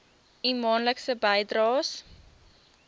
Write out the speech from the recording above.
u maandelikse bydraes